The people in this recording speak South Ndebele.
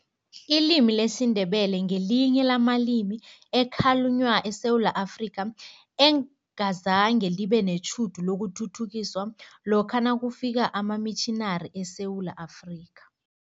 Ilimi lesiNdebele ngelinye lamalimi ekhalunywa eSewula Afrika, engazange libe netjhudu lokuthuthukiswa lokha nakufika amamitjhinari eSewula Afrika.